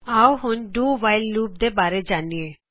ਆਓ ਹੁਣ do while loop do while loop ਦੇ ਬਾਰੇ ਜਾਨਿਏ